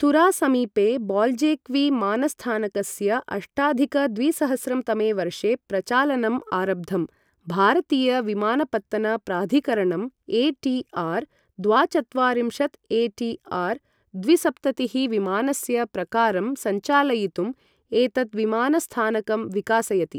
तुरा समीपे बाल्जेक्वि मानस्थानकस्य अष्टाधिक द्विसहस्रं तमे वर्षे प्रचालनम् आरब्धम्। भारतीय विमानपत्तन प्राधिकरणं, ए.टी.आर् द्वाचत्वारिंशत् ए.टी.आर् द्विसप्ततिः विमानस्य प्रकारं संचालयितुं एतत् विमानस्थानकं विकासयति।